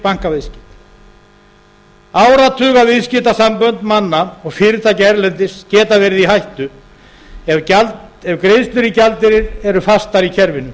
trygg bankaviðskipti áratugaviðskiptasambönd manna og fyrirtækja erlendis geta verið í hættu ef greiðslur í gjaldeyri eru fastar í kerfinu